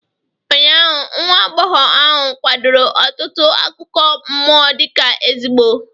Ụnyaahụ, nwa agbọghọ ahụ kwadoro ọtụtụ akụkọ mmụọ dị ka ezigbo